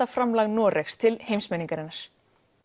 framlag Noregs til heimsmenningarinnar